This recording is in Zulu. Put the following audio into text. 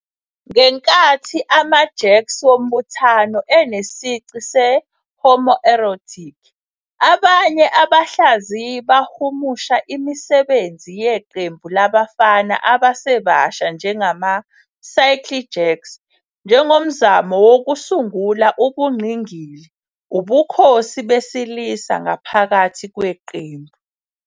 Ngenkathi ama-jerks wombuthano enesici se- homoerotic, abanye abahlaziyi bahumusha imisebenzi yeqembu labafana abasebasha njengama-circle jerks njengomzamo wokusungula ubungqingili, ubukhosi besilisa ngaphakathi kweqembu.